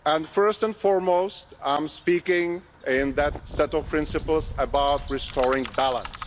First and foremost, I speak in that set of principles about restoring balance.